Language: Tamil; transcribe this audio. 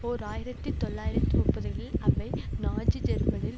ஓர் ஆயிரத்தி தொள்ளாயிரத்து முப்பதுகளில் அவை நாஜி ஜெர்மனியில்